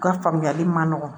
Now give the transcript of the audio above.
U ka faamuyali ma nɔgɔ